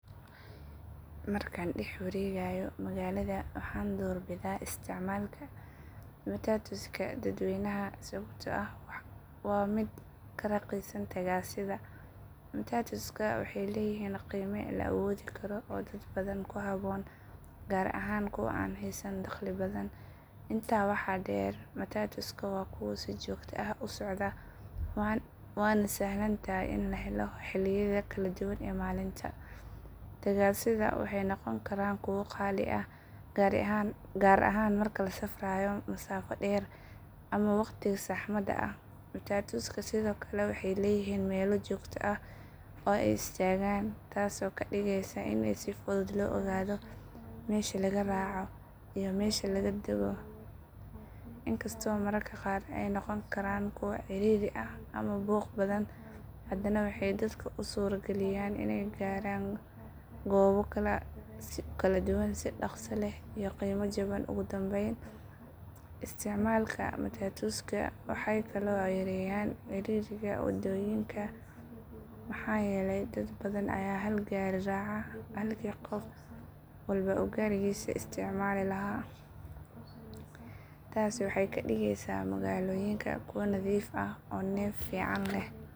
Markaan dhex wareegayo magaalada waxaan doorbidaa isticmaalka matatuska dadweynaha sababtoo ah waa mid ka raqiisan tagaasida. Matatusku waxay leeyihiin qiime la awoodi karo oo dad badan ku habboon, gaar ahaan kuwa aan haysan dakhli badan. Intaa waxaa dheer, matatuska waa kuwo si joogto ah u socda waana sahlan tahay in la helo xilliyada kala duwan ee maalinta. Tagaasida waxay noqon karaan kuwo qaali ah, gaar ahaan marka la safrayo masaafo dheer ama waqtiga saxmadda ah. Matatuska sidoo kale waxay leeyihiin meelo joogto ah oo ay istaagaan taasoo ka dhigaysa in si fudud loo ogaado meesha laga raaco iyo meesha laga dago. Inkastoo mararka qaar ay noqon karaan kuwo ciriiri ah ama buuq badan, haddana waxay dadka u suura galiyaan inay gaaraan goobo kala duwan si dhaqso leh iyo qiimo jaban. Ugu dambayn, isticmaalka matatuska waxay kaloo yareeyaan ciriiriga waddooyinka maxaa yeelay dad badan ayaa hal gaari raaca halkii qof walba uu gaarigiisa isticmaali lahaa. Taasi waxay ka dhigaysaa magaalooyinka kuwo nadiif ah oo neef fiican leh.